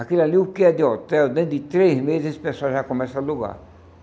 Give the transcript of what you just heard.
Aquilo ali, o que é de hotel, dentro de três meses esse pessoal já começa a alugar.